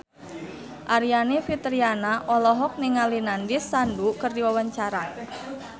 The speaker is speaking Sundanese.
Aryani Fitriana olohok ningali Nandish Sandhu keur diwawancara